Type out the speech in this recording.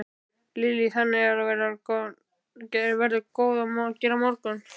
Lillý: Þannig að það verður nóg að gera á morgun?